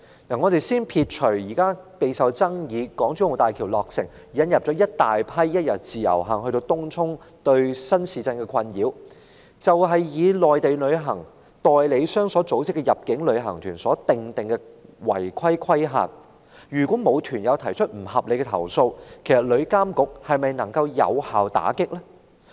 且不說備受爭議的港珠澳大橋落成，引來一大群一天自由行的旅客，對東涌新市鎮居民造成困擾；單說內地入境旅行團的違規事宜，如果沒有團友提出投訴，旅監局是否能有效打擊這些個案？